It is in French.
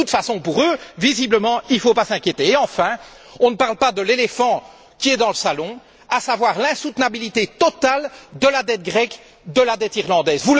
De toute façon, pour eux, visiblement, il ne faut pas s'inquiéter. Et, enfin, on ne parle pas de l'éléphant qui est dans le salon, à savoir l'insoutenabilité totale de la dette grecque, de la dette irlandaise.